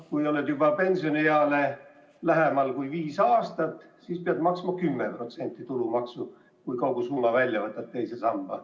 Kui oled pensionieale lähemal kui viis aastat, siis pead maksma 10% tulumaksu, juhul kui võtad II sambast kogu summa välja.